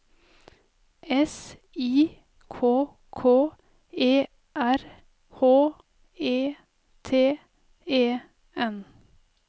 S I K K E R H E T E N